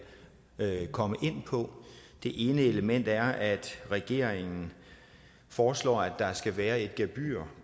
komme ind på det ene element er at regeringen foreslår at der skal være et gebyr